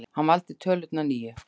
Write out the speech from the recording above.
Hann valdi tölurnar níu.